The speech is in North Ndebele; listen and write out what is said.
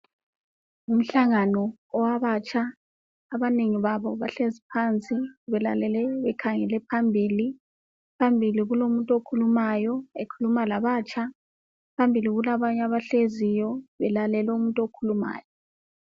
Umhlangano ngowabatsha. Abanengi babo bahlezi phansi bekhangele phambili. Phambili kulomuntu okhuluma labatsha. kulabanye abahleziyo belalele umuntu okhulumayo